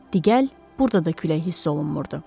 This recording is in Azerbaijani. Diqqəl, burda da külək hiss olunmurdu.